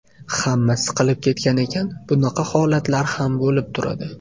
Hamma siqilib ketgan ekan, bunaqa holatlar ham bo‘lib turadi.